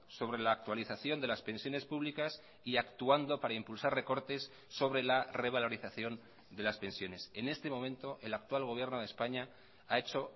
sobre la actualización de las pensiones públicas y actuando para impulsar recortes sobre la revalorización de las pensiones en este momento el actual gobierno de españa ha hecho